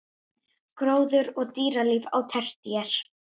Gróður og dýralíf á tertíer